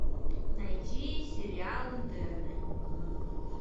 найти сериал интерны